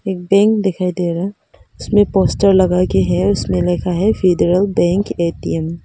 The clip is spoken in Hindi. एक बैंक दिखाई दे रहा है उसमें पोस्टर लगाया गया है उसमे लिखा है फेडरल बैंक ए_टी_म ।